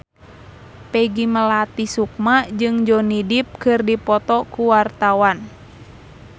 Peggy Melati Sukma jeung Johnny Depp keur dipoto ku wartawan